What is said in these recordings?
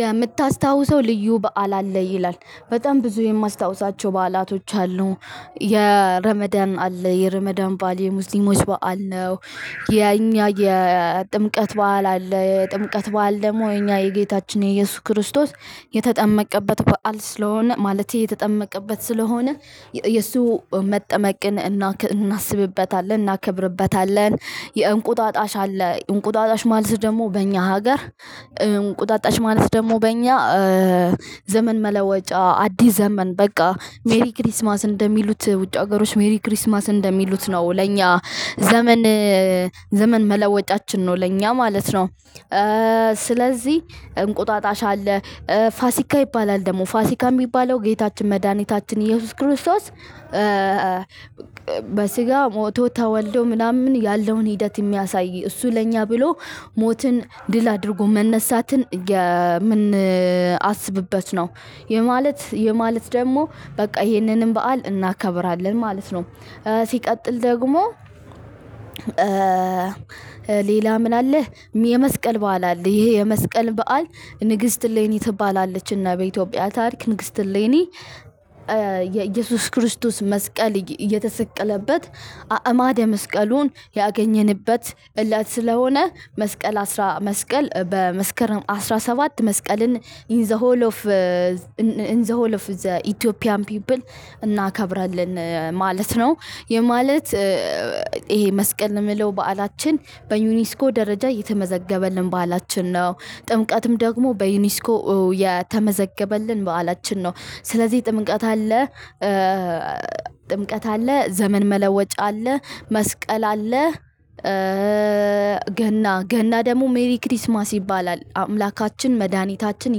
የምታስታውሰው ልዩ በዓል አለ ይላል በጣም ብዙ የማስታውሳቸው በዓላቶች አሉ የረመዳን አለ የረመዳን በዓል የሙስሊሞች በዓል ነው። የእኛ የጥምቀት በዓል አለ የጥምቀት በዓል ደግሞ የእኛ የጌታችን የኢየሱስ ክርስቶስ የተጠመቀበት በዓል ስለሆነ ማለቴ የተጠመቀበት ስለሆነ የሱ መጠመቅን እናስብበታለን እናከብርበታለን። የእንቁጣጣሽ አለ እንቁጣጣሽ ማለት ደግሞ በእኛ ሀገር እንቁጣጣሽ ማለት ደግሞ በእኛ ዘመን መለወጫ አዲስ ዘመን በቃ ሜሪ ክሪስማስ እንደሚሉት ውጭ ሀገሮች መሪ ክሪስማስ እንደሚሉት ነው ለእኛ ዘመን ዘመን መለወጫችን ነው ለእኛ ማለት ነው። ስለዚህ እንቁጣጣሽ አለ። ፋሲካ ይባላል ደግሞ ፋሲካም የሚባለው ጌታችን መድኃኒታችን ኢየሱስ ክርስቶስ በስጋ ሞቶ ተወልዶ ምናምን ያለውን ሂደት የሚያሳይ እሱ ለእኛ ብሎ ሞትን ድል አድርጎ መነሳትን የምንአስብበት ነው። ይህ ማለት ይህ ማለት ደግሞ በቃ ይሄንንም በዓል እናከብራለን ማለት ነው። ሲቀጥል ደግሞ ሌላ ምን አለ? የመስቀል በዓል አለ ይሄ የመስቀል በዓል ንግስት እሌኒ ትባላለች እና በኢትዮጵያ ታሪክ ንግስት እሌኒ። የኢየሱስ ክርስቶስ መስቀል እየተሰቀለበት አዕማደ መስቀሉን ያገኘንበት እለት ስለሆነ መስቀል አስራ መስቀል በመስከረም አስራ ሰባት መስቀልን ኢን ዘ ሆል ኦፍ ኢን ዘ ሆል ኦፍ ዘ ኢትዮጵያን ፒፕል እናከብራለን ማለት ነው። ይህ ማለት ይሄ መስቀል የምለው በዓላችን በዩኒስኮ ደረጃ የተመዘገበልን በዓላችን ነው። ጥምቀትም ደግሞ በዩኒስኮ የተመዘገበልን በዓላችን ነው። ስለዚህ ጥምቀት አለ። ጥምቀት አለ ዘመን መለወጫ አለ መስቀል አለ። ገና ገና ደግሞ ሜሪ ክርስማስ ይባላል አምላካችን መድኃኒታችን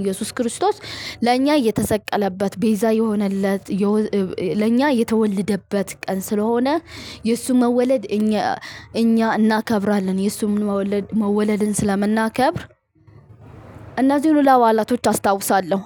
ኢየሱስ ክርስቶስ። ለእኛ የተሰቀለበት ቤዛ የሆነለት ለእኛ የተወለደበት ቀን ስለሆነ የእሱ መወለድ እኛ እኛ እናከብራለን የእሱ መወለድ መወለድን ስለምናከብር። እነዚህን ሁላ በዓላቶች አስታውሳለሁ።